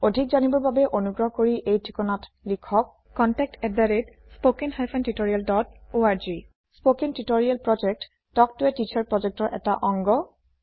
অধিক জানিবৰ বাবে অনুগ্ৰহ কৰি এই ঠিকনাত লিখক contactspoken hyphen tutorial dot org spoken tutorial project talk ত a টিচাৰ projectৰ এটা অংগ